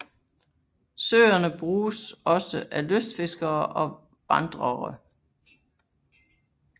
Søerne bruges også af lystfiskere og vandere